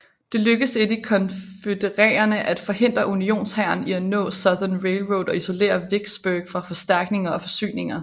Det lykkedes ikke de konfødererede at forhindre unionshæren i at nå Southern Railroad og isolere Vicksburg fra forstærkninger og forsyninger